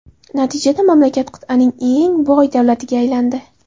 Natijada, mamlakat qit’aning eng boy davlatiga aylandi .